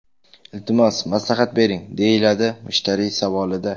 Iltimos maslahat bering”, deyiladi mushtariy savolida.